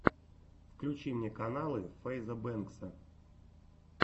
включи мне каналы фэйза бэнкса